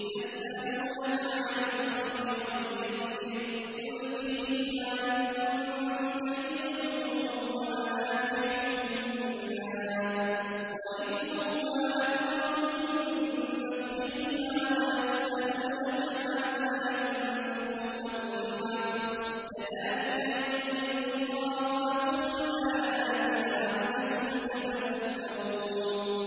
۞ يَسْأَلُونَكَ عَنِ الْخَمْرِ وَالْمَيْسِرِ ۖ قُلْ فِيهِمَا إِثْمٌ كَبِيرٌ وَمَنَافِعُ لِلنَّاسِ وَإِثْمُهُمَا أَكْبَرُ مِن نَّفْعِهِمَا ۗ وَيَسْأَلُونَكَ مَاذَا يُنفِقُونَ قُلِ الْعَفْوَ ۗ كَذَٰلِكَ يُبَيِّنُ اللَّهُ لَكُمُ الْآيَاتِ لَعَلَّكُمْ تَتَفَكَّرُونَ